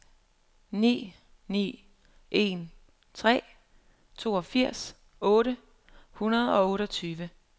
ni ni en tre toogfirs otte hundrede og otteogtyve